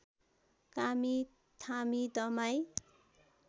कामी Thami दमाईं